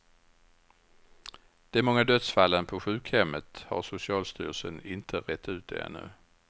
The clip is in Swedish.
De många dödsfallen på sjukhemmet har socialstyrelsen inte rett ut ännu.